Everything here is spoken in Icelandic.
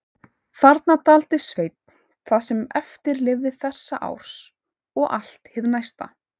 Þarna dvaldi Sveinn það sem eftir lifði þessa árs og allt hið næsta.